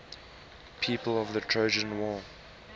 people of the trojan war